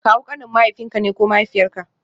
Kawu kanin mahaifinka ne ko mahaifiyarka